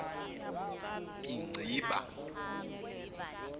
inciba